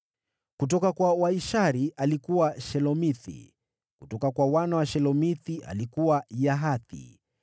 Kutoka kwa Waishari: alikuwa Shelomithi, kutoka kwa wana wa Shelomithi: alikuwa Yahathi.